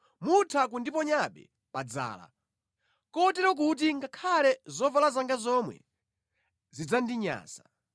mutha kundiponyabe pa dzala, kotero kuti ngakhale zovala zanga zomwe zidzandinyansa.